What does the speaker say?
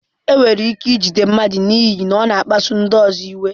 Enwere ike ijide mmadụ n'ihi na ọ na-akpasu ndị ọzọ iwe.